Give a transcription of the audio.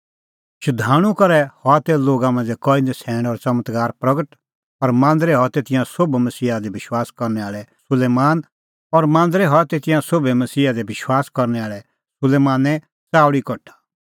शधाणूं करै हआ तै लोगा मांझ़ै कई नछ़ैण और च़मत्कार प्रगट और मांदरै हआ तै तिंयां सोभै मसीहा दी विश्वास करनै आल़ै सुलैमाने च़ाऊल़ी कठा